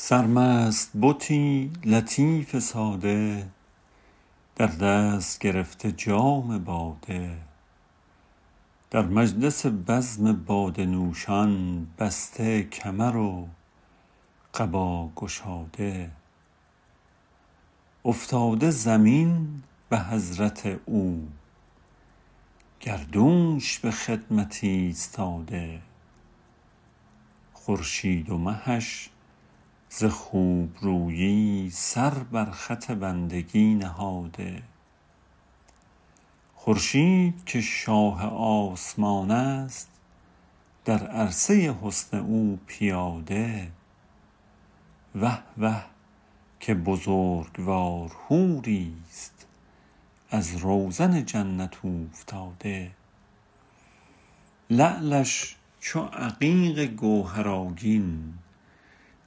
سرمست بتی لطیف ساده در دست گرفته جام باده در مجلس بزم باده نوشان بسته کمر و قبا گشاده افتاده زمین به حضرت او گردونش به خدمت ایستاده خورشید و مهش ز خوبرویی سر بر خط بندگی نهاده خورشید که شاه آسمان است در عرصه حسن او پیاده وه وه که بزرگوار حوریست از روزن جنت اوفتاده لعلش چو عقیق گوهرآگین